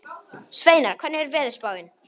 Sveinar, hvernig er veðurspáin?